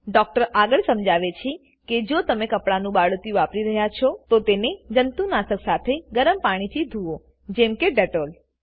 doctor આગળ સમજાવે છે કે જો તમે કપડાનું બાળોતિયું વાપરી રહ્યા છો તો તેને જંતુનાશક સાથે ગરમ પાણી થી ધુઓ જેમકે ડેટોલ